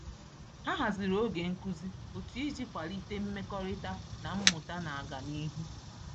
Ha haziri oge nkuzi otu iji kwalite mmekọrịta na mmụta na-aga n’ihu.